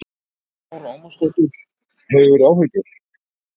Lára Ómarsdóttir: Hefurðu áhyggjur?